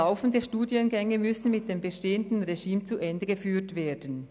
Laufende Studiengänge müssten nach dem bestehenden System zu Ende geführt werden.